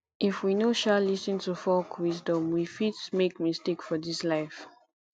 if we no um lis ten to folk wisdom we fit make mistake for dis life